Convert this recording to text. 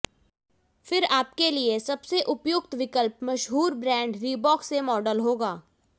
फिर आपके लिए सबसे उपयुक्त विकल्प मशहूर ब्रांड रीबॉक से मॉडल होगा